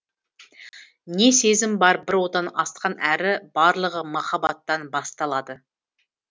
не сезім бар бір одан асқан әрі барлығы махаббаттан басталады